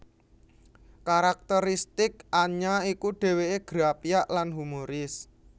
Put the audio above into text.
Karakteristik Anya iku dhèwèké grapyak lan humoris